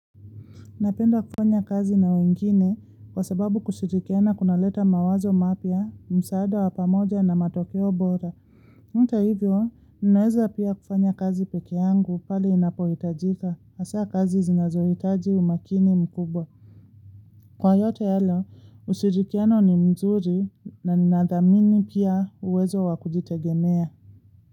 Napenda kufanya kazi na wengine kwa sababu kushirikiana kunaleta mawazo mapya, msaada wa pamoja na matokeo bora. Hata hivyo, ninaeza pia kufanya kazi peke yangu pale ninapohitajika, hasa kazi zinazohitaji umakini mkubwa. Kwa yote yalo, ushirikiano ni mzuri na ninathamini pia uwezo wa kujitegemea.